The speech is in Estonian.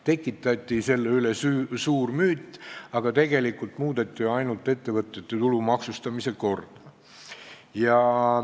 Tekitati sellest suur müüt, aga tegelikult muudeti ju ainult ettevõtete tulumaksustamise korda.